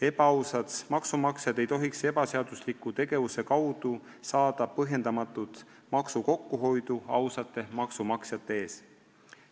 Ebaausad maksumaksjad ei tohiks ebaseadusliku tegevuse kaudu saada põhjendamatut maksukokkuhoidu ausate maksumaksjate ees.